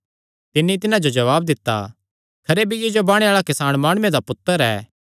तिन्नी तिन्हां जो जवाब दित्ता खरे बीऐ जो बाणे आल़ा किसान माणुये दा पुत्तर ऐ